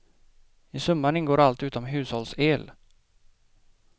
I summan ingår allt utom hushållsel.